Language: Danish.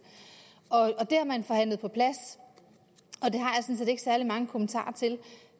det har man forhandlet på plads og ikke særlig mange kommentarer til